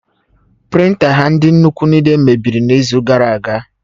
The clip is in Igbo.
Prịnta ha ndị nnukwu niile mebiri n'izu gara aga